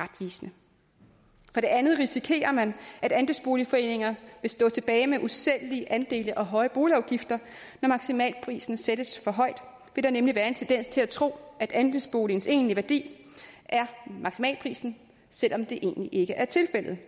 retvisende for det andet risikerer man at andelsboligforeninger vil stå tilbage med usælgelige andele og høje boligafgifter når maksimalprisen sættes for højt vil der nemlig være en tendens til at tro at andelsboligens egentlige værdi er maksimalprisen selv om det egentlig ikke er tilfældet